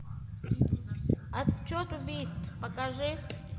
отсчет убийств покажи